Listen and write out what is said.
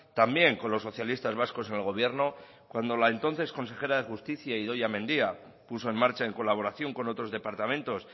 también con los socialistas vascos en el gobierno cuando la entonces consejera de justicia idoia mendia puso en marcha en colaboración con otros departamentos